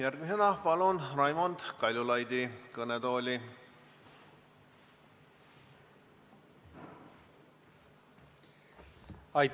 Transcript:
Järgmisena palun kõnetooli Raimond Kaljulaidi.